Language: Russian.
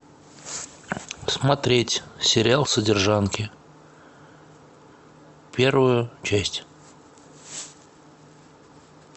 смотреть сериал содержанки первую часть